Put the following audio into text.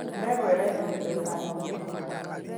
Ndegwa ĩrendirio mbeca nyingĩ.